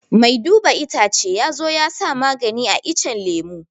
Mai duba itacce ya zo ya sa magani a iccen lemu